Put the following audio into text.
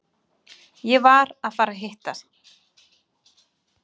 Ég var að fara að hitta